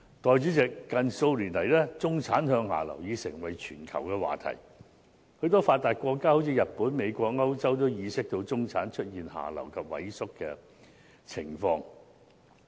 代理主席，近數年來，中產向下流已成為全球的話題，許多發達國家，例如日本、美國和歐洲都已意識到中產出現下流及萎縮的情況。